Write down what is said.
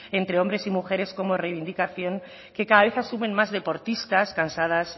entre hombre y mujeres como reivindicación que cada vez asumen más deportistas cansadas